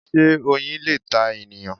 Sé Oyin le ta ènìyàn